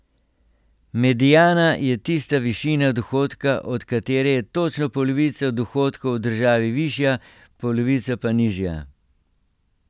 Mediana je tista višina dohodka, od katere je točno polovica dohodkov v državi višja, polovica pa nižja.